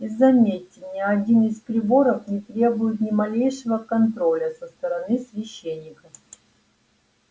и заметьте ни один из приборов не требует ни малейшего контроля со стороны священников